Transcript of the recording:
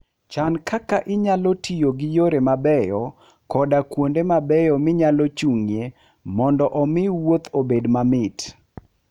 Chan kaka inyalo tiyo gi yore mabeyo koda kuonde mabeyo minyalo chung'ie mondo omi wuoth obed mamit.